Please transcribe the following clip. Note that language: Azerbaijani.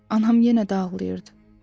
Anam yenə də ağlayırdı.